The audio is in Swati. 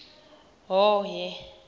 hhohhe